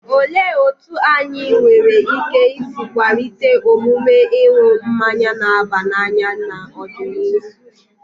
Olee otú anyị nwere ike isi kwalite omume ịṅụ mmanya na-aba n'anya n'ọdịnihu?